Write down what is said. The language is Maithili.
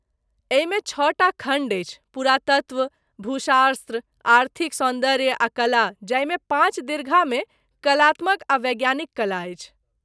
एहिमे छओटा खण्ड अछि पुरातत्व, भूशास्त्र, आर्थिक सौन्दर्य आ कला, जाहिमे पाँच दीर्घामे कलात्मक आ वैज्ञानिक कला अछि।